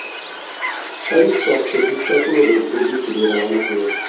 परी चौक से भी सैकड़ों लोग दिल्ली के लिए रवाना हुए